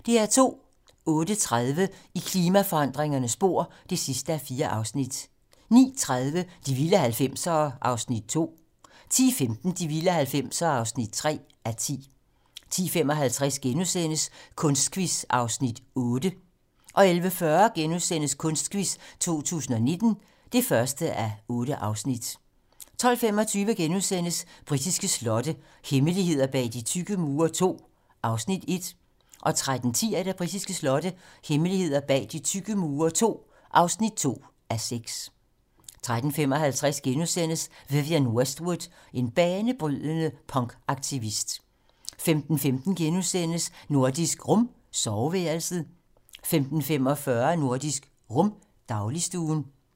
08:30: I klimaforandringernes spor (4:4) 09:30: De vilde 90'ere (2:10) 10:15: De vilde 90'ere (3:10) 10:55: Kunstquiz (Afs. 8)* 11:40: Kunstquiz 2019 (1:8)* 12:25: Britiske slotte - hemmeligheder bag de tykke mure II (1:6)* 13:10: Britiske slotte - hemmeligheder bag de tykke mure II (2:6) 13:55: Vivienne Westwood - en banebrydende punkaktivist * 15:15: Nordisk Rum - soveværelset * 15:45: Nordisk Rum - dagligstuen